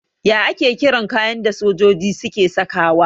Ya ake kiran kayan da sojoji suke sakawa?